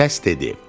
Səs dedi: